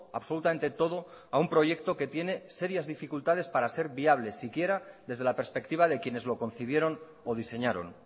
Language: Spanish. absolutamente todo a un proyecto que tiene serias dificultades para ser viable siquiera desde la perspectiva de quienes lo concibieron o diseñaron